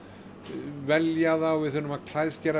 velja þá við þurfum að